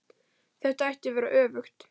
Þetta ætti að vera öfugt.